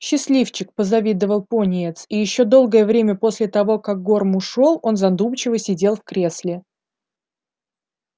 счастливчик позавидовал пониетс и ещё долгое время после того как горм ушёл он задумчиво сидел в кресле